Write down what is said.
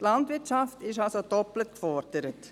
Die Landwirtschaft ist somit doppelt gefordert.